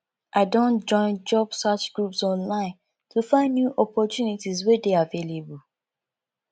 i don join job search groups online to find new opportunities wey dey available